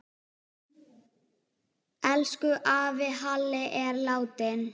Elsku afi Halli er látinn.